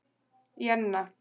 Jenna